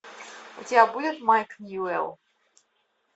у тебя будет майк ньюэлл